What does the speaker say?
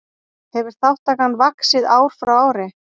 Hefur þátttakan vaxið ár frá ári